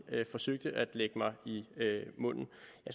forsøgte at lægge mig i munden